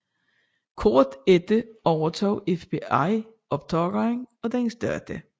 Kort efter overtog FBI optageren og dens data